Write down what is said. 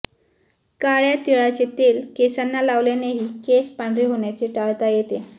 काळ्या तिळाचे तेल केसांना लावल्यानेही केस पांढरे होण्याचे टाळता येते